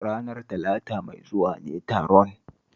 Ranar Talata mai zuwa ne taron